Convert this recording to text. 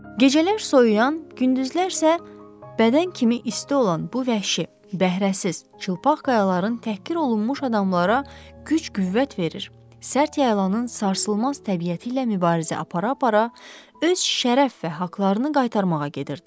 Gecələr soyuyan, gündüzlər isə bədən kimi isti olan bu vəhşi, bəhrəsiz, çılpaq qayaların təhqir olunmuş adamlara güc-qüvvət verir, sərt yaylanın sarsılmaz təbiəti ilə mübarizə apara-apara öz şərəf və haqlarını qaytarmağa gedirdilər.